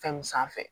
Fɛnw sanfɛ